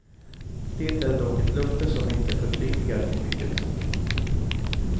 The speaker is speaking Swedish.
Det är dock ett löfte som inte förpliktigar till mycket.